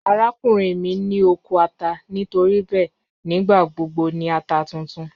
Arakunrin mi ni oko ata nitoribẹẹ a nigbagbogbo ni ata tuntun.